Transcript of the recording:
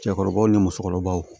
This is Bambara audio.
Cɛkɔrɔbaw ni musokɔrɔbaw